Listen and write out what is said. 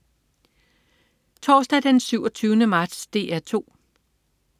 Torsdag den 27. marts - DR 2: